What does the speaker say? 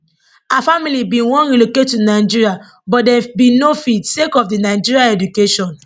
her family bin wan relocate to nigeria but dem bin no fit sake of di children education